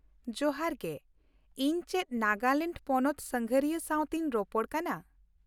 ᱡᱚᱦᱟᱨ ᱜᱮ ! ᱤᱧ ᱪᱮᱫ ᱱᱟᱜᱟᱞᱮᱱᱰ ᱯᱚᱱᱚᱛ ᱥᱟᱸᱜᱷᱟᱨᱤᱭᱟᱹ ᱥᱟᱶᱛᱮᱧ ᱨᱚᱯᱚᱲ ᱠᱟᱱᱟ ᱾